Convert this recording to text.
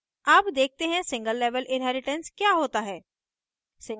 अब देखते हैं single level inheritance क्या होता है